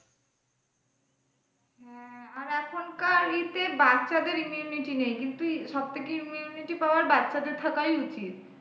হ্যাঁ আর এখন কার ই তে বাচ্চাদের immunity নেই কিন্তু সবথেকে immunity power বাচ্চা দের থাকাই উচিত।